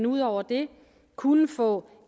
ud over det kunne få